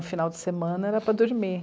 O final de semana era para dormir.